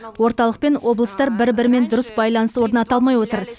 орталық пен облыстар бір бірімен дұрыс байланыс орната алмай отыр